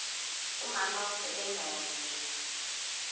umama usebenza kanzima